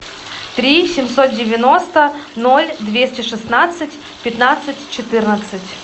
три семьсот девяносто ноль двести шестнадцать пятнадцать четырнадцать